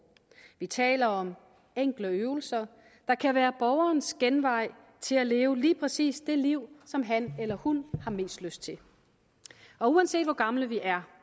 vi taler om enkle øvelser der kan være borgernes genvej til at leve lige præcis det liv som han eller hun har mest lyst til uanset hvor gamle vi er